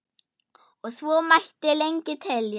og svo mætti lengi telja.